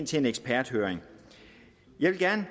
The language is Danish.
til en eksperthøring jeg vil gerne